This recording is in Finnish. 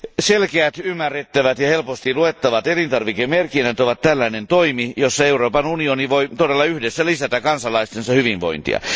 Selkeät, ymmärrettävät ja helposti luettavat elintarvikemerkinnät ovat tällainen toimi, jolla Euroopan unioni voi todella yhdessä lisätä kansalaistensa hyvinvointia.